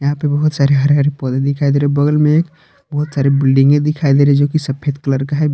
यहां पे बहोत सारे हरे हरे पौधे दिखाई दे रहे हैं बगल में एक बहुत सारे बिल्डिंगे दिखाई दे रही है जोकि सफेद कलर का है।